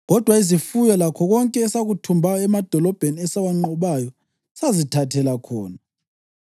Kodwa izifuyo lakho konke esakuthumbayo emadolobheni esawanqobayo sazithathela khona.